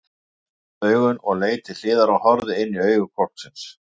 Hann opnaði augun og leit til hliðar og horfði inní augu hvolpsins!